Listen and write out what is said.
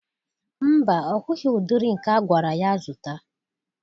Mba, ọ hụghị ụdịrị nke agwara ya zụta.